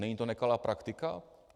Není to nekalá praktika?